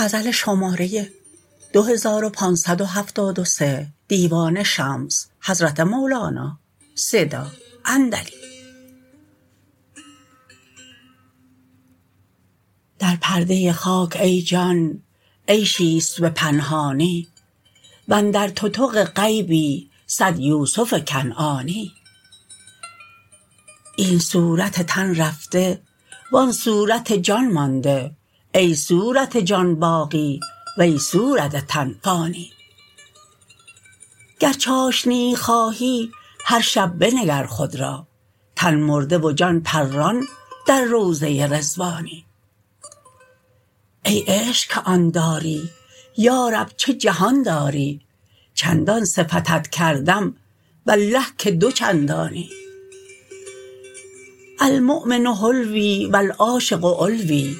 در پرده خاک ای جان عیشی است به پنهانی و اندر تتق غیبی صد یوسف کنعانی این صورت تن رفته و آن صورت جان مانده ای صورت جان باقی وی صورت تن فانی گر چاشنیی خواهی هر شب بنگر خود را تن مرده و جان پران در روضه رضوانی ای عشق که آن داری یا رب چه جهان داری چندان صفتت کردم والله که دو چندانی المؤمن حلوی و العاش علوی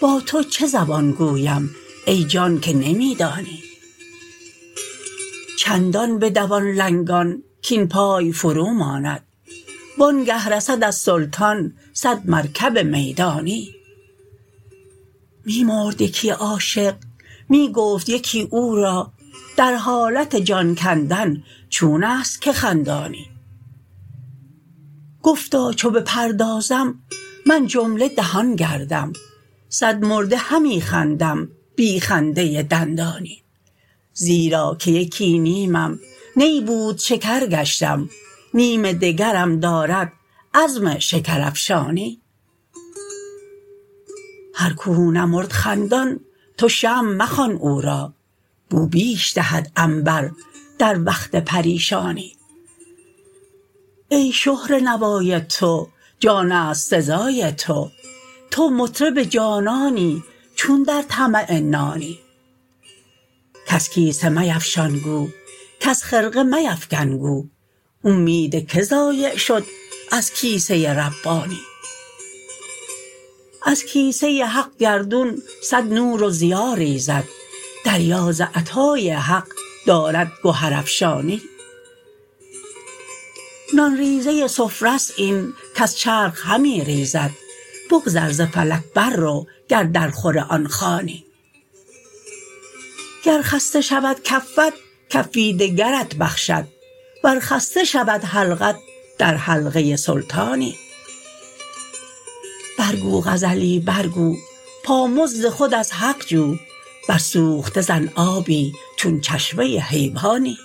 با تو چه زبان گویم ای جان که نمی دانی چندان بدوان لنگان کاین پای فروماند وآنگه رسد از سلطان صد مرکب میدانی می مرد یکی عاشق می گفت یکی او را در حالت جان کندن چون است که خندانی گفتا چو بپردازم من جمله دهان گردم صدمرده همی خندم بی خنده دندانی زیرا که یکی نیمم نی بود شکر گشتم نیم دگرم دارد عزم شکرافشانی هر کو نمرد خندان تو شمع مخوان او را بو بیش دهد عنبر در وقت پریشانی ای شهره نوای تو جان است سزای تو تو مطرب جانانی چون در طمع نانی کس کیسه میفشان گو کس خرقه میفکن گو اومید کی ضایع شد از کیسه ربانی از کیسه حق گردون صد نور و ضیا ریزد دریا ز عطای حق دارد گهرافشانی نان ریزه سفره ست این کز چرخ همی ریزد بگذر ز فلک بررو گر درخور آن خوانی گر خسته شود کفت کفی دگرت بخشد ور خسته شود حلقت در حلقه سلطانی برگو غزلی برگو پامزد خود از حق جو بر سوخته زن آبی چون چشمه حیوانی